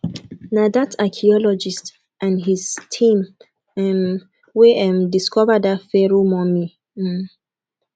na dat archeologist and his team um wey um discover dat pharoah mummy um